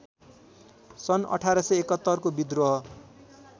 सन् १८७१ को विद्रोह